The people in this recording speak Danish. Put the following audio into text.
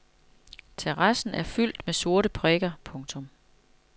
Terrassen er fyldt med sorte prikker. punktum